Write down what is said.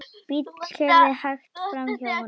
Bíll keyrði hægt framhjá honum.